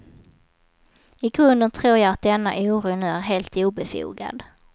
I grunden tror jag att denna oro nu är helt obefogad.